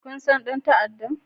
Kun san dan ta'addan?